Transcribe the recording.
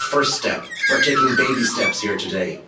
this is the first step, we're taking baby steps here today.